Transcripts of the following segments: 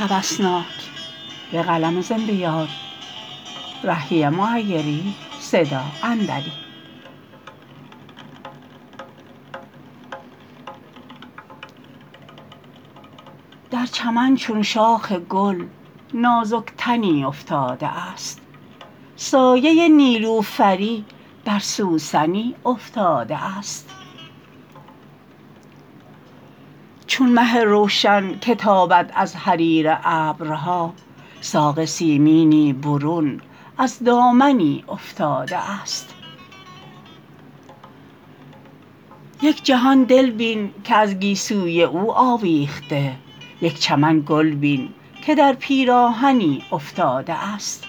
در چمن چون شاخ گل نازک تنی افتاده است سایه نیلوفری بر سوسنی افتاده است چون مه روشن که تابد از حریر ابرها ساق سیمینی برون از دامنی افتاده است یک جهان دل بین که از گیسوی او آویخته یک چمن گل بین که در پیراهنی افتاده است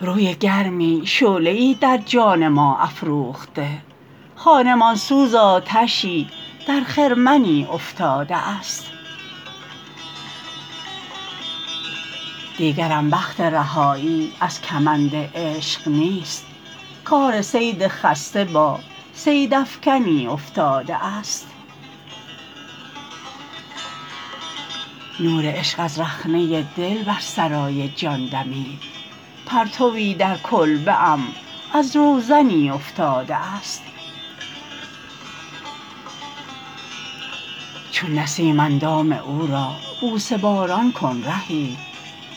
روی گرمی شعله ای در جان ما افروخته خانمان سوز آتشی در خرمنی افتاده است دیگرم بخت رهایی از کمند عشق نیست کار صید خسته با صیدافکنی افتاده است نور عشق از رخنه دل بر سرای جان دمید پرتوی در کلبه ام از روزنی افتاده است چون نسیم اندام او را بوسه باران کن رهی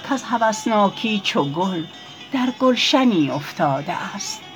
کز هوسناکی چو گل در گلشنی افتاده است